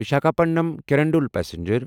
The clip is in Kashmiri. وشاکھاپٹنم کرندول پسنجر